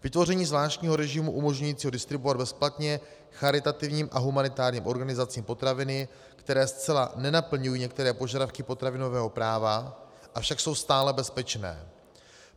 Vytvoření zvláštního režimu umožňujícího distribuovat bezplatně charitativním a humanitárním organizacím potraviny, které zcela nenaplňují některé požadavky potravinového práva, avšak jsou stále bezpečné.